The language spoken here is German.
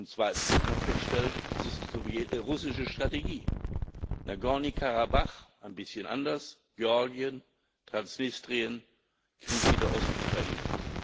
Zweitens muss man feststellen Es ist russische Strategie in Nagorny Karabach ein bisschen anders Georgien, Transnistrien, Krieg in der Ostukraine.